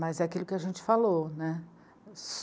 Mas é aquilo que a gente falou, né.